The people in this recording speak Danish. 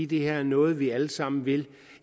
det her er noget vi alle sammen vil